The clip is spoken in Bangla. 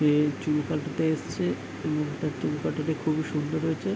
এ চুল কাটাতে এসছে এই মুখটা চুল কাটাতে খুবই সুন্দর হয়েছে --